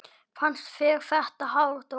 Fannst þér þetta hár dómur?